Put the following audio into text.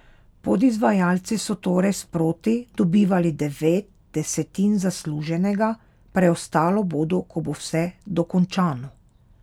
Podizvajalci so torej sproti dobivali devet desetin zasluženega, preostalo bodo, ko bo vse dokončano.